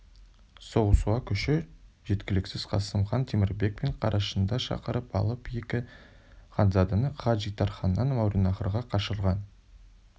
соғысуға күші жеткіліксіз қасым хан темірбек пен қарашыңды шақырып алып екі ханзаданы хаджитарханнан мауреннахрға қашырған